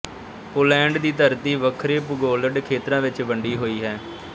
Poland ਦੀ ਧਰਤੀ ਵੱਖਰੇ ਭੂਗੋਲਿਕ ਖੇਤਰਾਂ ਵਿੱਚ ਵੰਡੀ ਹੋਈ ਹੈ